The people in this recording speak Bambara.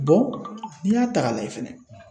n'i y'a ta k'a lajɛ fɛnɛ